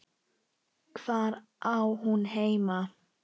Hvar á hún heima?